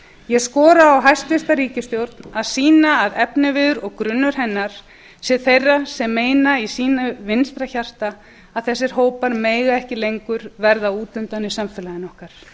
ég skora á hæstvirta ríkisstjórn að sýna að efniviður og grunnur hennar sé þeirra sem meina í sínu vinstra hjarta að þessir hópar megi ekki lengur verða út undan í samfélaginu okkar